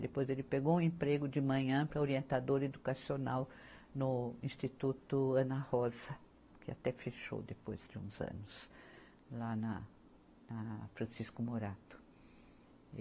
Depois, ele pegou um emprego de manhã para orientador educacional no Instituto Ana Rosa, que até fechou depois de uns anos lá na, na Francisco Morato.